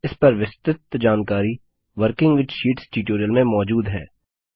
इस पर विस्तृत जानकारी वर्किंग विथ शीट्स ट्यूटोरियल में मौजूद है